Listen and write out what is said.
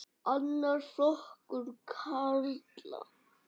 Annar flokkur karla.